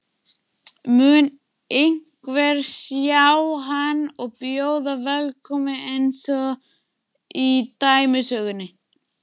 Mun einhver sjá hann og bjóða velkominn einsog í dæmisögunni?